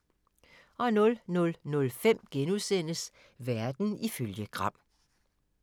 00:05: Verden ifølge Gram *